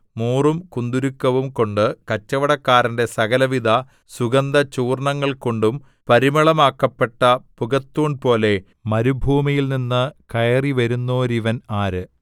മൂറും കുന്തുരുക്കവും കൊണ്ടും കച്ചവടക്കാരന്റെ സകലവിധ സുഗന്ധചൂർണ്ണങ്ങൾകൊണ്ടും പരിമളമാക്കപ്പെട്ട പുകത്തൂൺപോലെ മരുഭൂമിയിൽനിന്ന് കയറിവരുന്നോരിവൻ ആര്